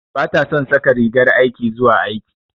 Bata son saka rigar aiki zuwa aiki.